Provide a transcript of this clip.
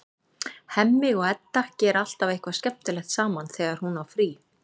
Hemmi og Edda gera alltaf eitthvað skemmtilegt saman þegar hún á frí.